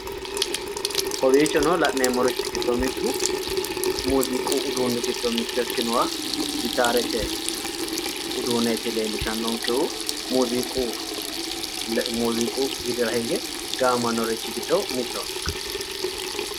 kowiichono la'neemmorichi giddo mittu muziiqu giddo nmitto ikkinoha gitaarete uduuneeti leellishannonkehu muziiqu widira hige gaamamannori giddo mittoho